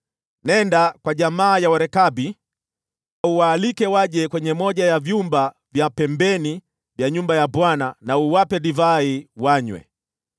“Nenda kwa jamaa ya Warekabi, uwaalike waje kwenye moja ya vyumba vya pembeni vya nyumba ya Bwana , na uwape divai wanywe.”